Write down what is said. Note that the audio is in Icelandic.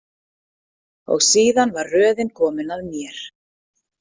Og síðan var röðin komin að mér.